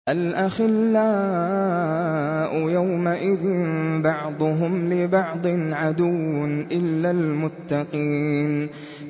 الْأَخِلَّاءُ يَوْمَئِذٍ بَعْضُهُمْ لِبَعْضٍ عَدُوٌّ إِلَّا الْمُتَّقِينَ